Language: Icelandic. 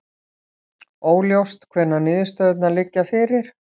Óljóst hvenær niðurstöðurnar liggja fyrir